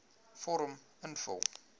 vorm invul